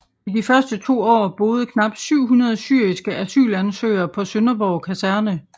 I de første to år boede knap 700 syriske asylansøgere på Sønderborg Kaserne